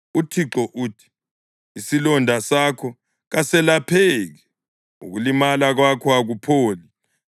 UThixo uthi: ‘Isilonda sakho kaselapheki, ukulimala kwakho akupholi.